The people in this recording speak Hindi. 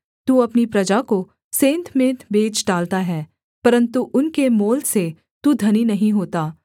तू अपनी प्रजा को सेंतमेंत बेच डालता है परन्तु उनके मोल से तू धनी नहीं होता